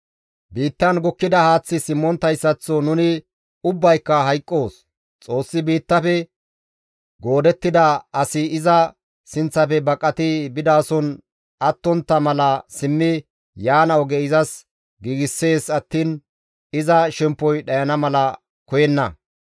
Biittan gukkida haaththi simmonttayssaththo nuni ubbayka hayqqoos; Xoossi biittafe goodettida asi iza sinththafe baqati bidason attontta mala simmi yaana oge izas giigssees attiin iza shemppoy dhayana mala koyenna.